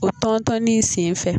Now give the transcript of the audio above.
O tɔntɔnni sen fɛ.